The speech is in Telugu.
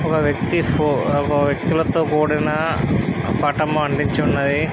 ఒక వ్యక్తి ఫో ఒక వ్యక్తులతో కూడిన పటము అంటించి ఉన్నది.